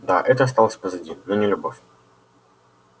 да это осталось позади но не любовь